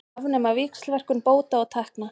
Afnema víxlverkun bóta og tekna